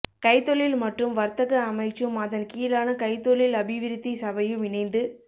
கைத்தொழில் மற்றும் வர்த்தக அமைச்சும் அதன் கீழான கைத்தொழில் அபிவிருத்தி சபையும் இணைந்து